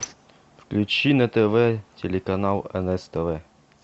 включи на тв телеканал нс тв